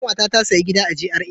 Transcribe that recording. Kanwata ta sayi gida a GRA.